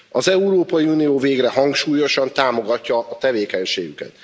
Az Európai Unió végre hangsúlyosan támogatja a tevékenységüket.